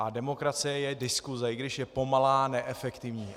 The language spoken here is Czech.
A demokracie je diskuse, i když je pomalá, neefektivní.